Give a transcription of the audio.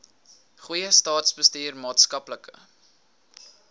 goeie staatsbestuur maatskaplike